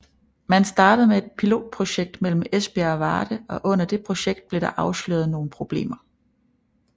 Man startede med et pilotprojekt imellem Esbjerg og Varde og under det projekt blev der afsløret nogle problemer